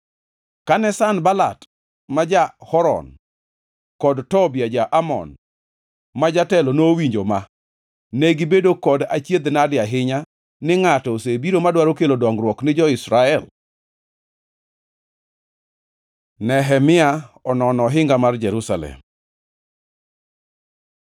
Kane Sanbalat ma ja-Horon kod Tobia ja-Amon ma jatelo nowinjo ma, negibedo kod achiedh-nade ahinya ni ngʼato osebiro madwaro kelo dongruok ni jo-Israel. Nehemia Onono ohinga mar Jerusalem